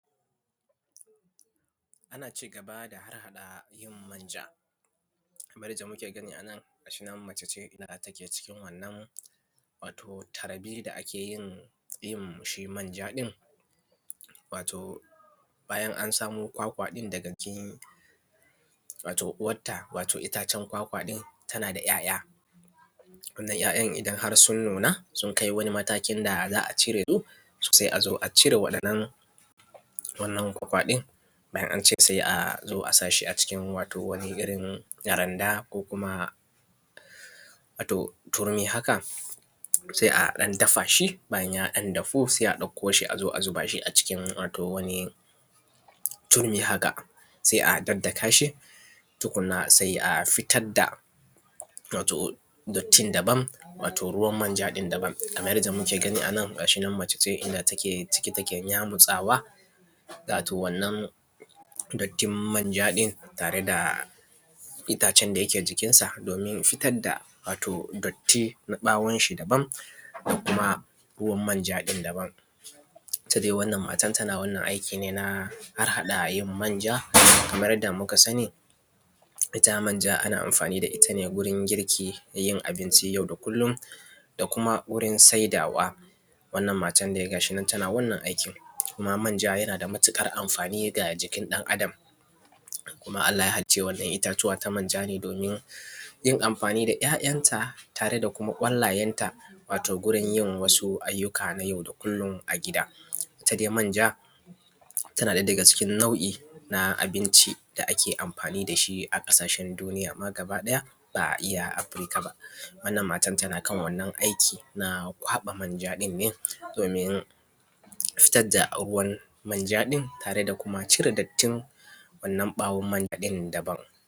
ana cigaba da harhaɗa yin manja kamar yanda muke gani anan mace ce da ta ke cikin wannan wato tarbe da aka yin shi manja ɗin wato bayan an samo ƙwaƙwa ɗin daga wato uwarta itacen ƙwaƙwa ɗin tana da ‘ya’ya wannan ‘ya’yan idan har sun nuna sun kai wani matakin da za a cire su sai azo acire wannan wannan ƙwaƙwa ɗin bayan an cire shi sai azo a saka shi a wato wani rin randa ko kuma turmi haka sai a ɗan dafa shi bayan ya ɗan dahu sai a ɗauko shi azo a zuba shi a cikin wato wani turmi haka sai a daddaka shi tukunna sai a fitar da wato dattin daban wato ruwan manjan daban kamar yanda muke gani anan gashi nan mace inda take ciki take yamutsawa wato wannan dattin manja ɗin tare da itacen daya ke jikin sa domin fitar da wato datti na ɓawon shi daban ko kuma ruwan manja ɗin daban ita dai wannan matar ta wannan aikin ne na harhaɗa manja kamar yanda muka sani ita manja ana amfani da ita ne gurin girki da yin abincin yau da kullum da kuma wurin saidawa wannan matar dai gashi nan tana wannan aikin kuma manja yana da matuƙar amfani ga jikin ɗan adam kuma allah ya halicci ita wannan itatuwa ta manja ne domin yin amfani da ‘ya’yanta tare da kuma ƙwallayen ta wato gurin yin wasu ayyuka na yau da kullum a gida ita dai manja tana daga cikin nau’i na abinci da ake amfani dashi a ƙasashen duniya ma gaba ɗaya ba iya afrika ba wannan matan tana kan wannan aiki na kwaɓa manja ɗin ne domin fitar da ruwan manja tare da kuma cire dattin wannan ɓawon manja ɗin